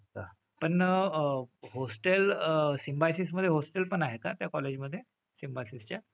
पण uh hostel सिम्बायोसिसमध्ये hostel पण आहे का त्या college मधे? सिम्बायोसिसच्या?